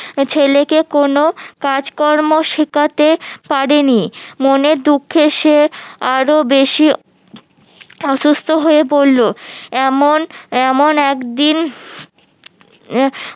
ছেলেকে কোনো কাজকর্ম শিখাতে পারেনি মনের দুঃখে সে আরো বেশি অসুস্থ হয়ে পড়লো এমন এমন একদিন